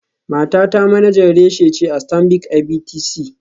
Matata manajan reshe ce a Stanbic IBTC.